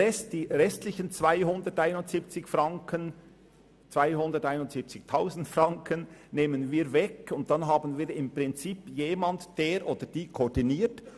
Die restlichen 271 000 Franken nehmen wir weg, und dann haben wir im Prinzip jemanden, der koordiniert.